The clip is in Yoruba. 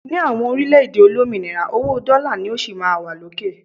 ní àwọn orílẹ̀-èdè olómìnira, owó dola ni ó sí ma wa lókè